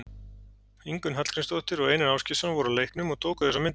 Ingunn Hallgrímsdóttir og Einar Ásgeirsson voru á leiknum og tóku þessar myndir.